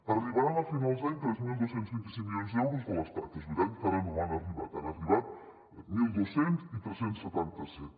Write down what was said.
arribaran a finals d’any tres mil dos cents i vint cinc milions d’euros de l’estat és veritat que encara no han arribat n’han arribat mil dos cents i tres cents i setanta set